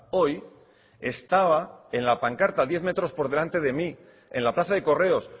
hoy estaba en la pancarta diez metros por delante de mí en la plaza de correos